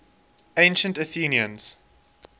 ancient athenians